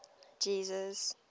jesus